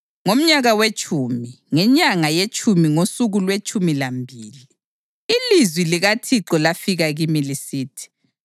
Ngomnyaka wetshumi, ngenyanga yetshumi ngosuku lwetshumi lambili, ilizwi likaThixo lafika kimi lisithi: